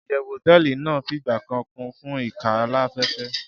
iyewu hoteeli nàá figba kan Kun fun ikan alafefe